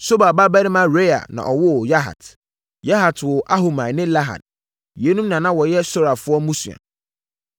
Sobal babarima Reaia na ɔwoo Yahat. Yahat woo Ahumai ne Lahad. Yeinom na na wɔyɛ Sorafoɔ mmusua.